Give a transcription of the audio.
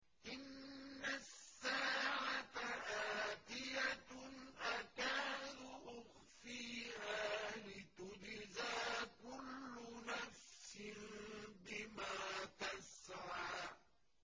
إِنَّ السَّاعَةَ آتِيَةٌ أَكَادُ أُخْفِيهَا لِتُجْزَىٰ كُلُّ نَفْسٍ بِمَا تَسْعَىٰ